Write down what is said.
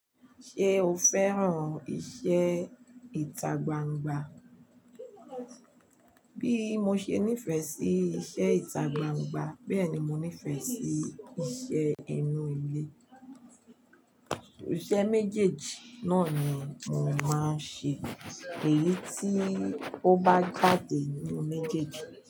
Ṣé o fẹ́ràn iṣẹ́ ìtagbangba? Bí mo ṣe nífẹ̀ẹ́ sí iṣẹ́ ìtagbangba, bẹ́ẹ̀ ni mo nífẹ̀ẹ́ sí iṣẹ́ inú ilé. Iṣẹ́ méjèèjì náà ni mò máa ń ṣe èyí tí ó bá jáde nínú méjèèjì.